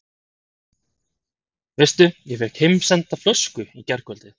Veistu að ég fékk heimsenda flösku í gærkvöldi?